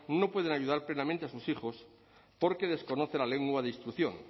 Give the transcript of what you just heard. no pueden ayudar plenamente a sus hijos porque desconocen la lengua de instrucción